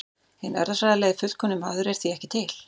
Hinn erfðafræðilega fullkomni maður er því ekki til.